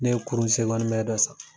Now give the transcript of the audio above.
Ne ye kurun dɔ san.